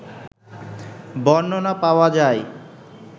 বর্ণনা পাওয়া যায়